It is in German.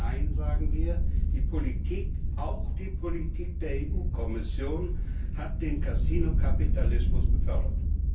Nein, sagen wir, die Politik, auch die Politik der EU Kommission, hat den Kasinokapitalismus gefördert.